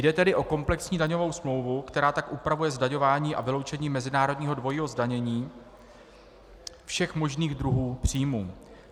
Jde tedy o komplexní daňovou smlouvu, která tak upravuje zdaňování a vyloučení mezinárodního dvojího zdanění všech možných druhů příjmů.